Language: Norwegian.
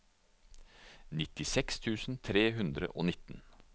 nittiseks tusen tre hundre og nitten